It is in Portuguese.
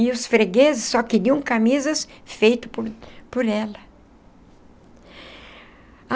E os fregueses só queriam camisas feitas por por ela.